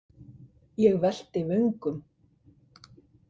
Ég velti vöngum.